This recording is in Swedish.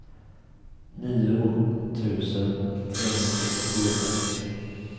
nio tusen trehundrafyrtiofyra